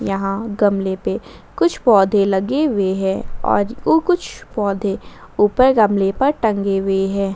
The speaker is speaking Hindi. यहां गमले पे कुछ पौधे लगे हुए हैं और कु कुछ पौधे ऊपर गमले पर टंगे हुए हैं।